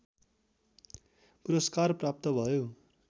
पुरस्कार प्राप्त भयो